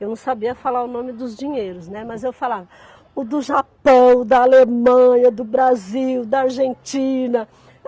Eu não sabia falar o nome dos dinheiros, né, mas eu falava o do Japão, da Alemanha, do Brasil, da Argentina.